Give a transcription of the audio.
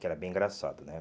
Que era bem engraçado, né?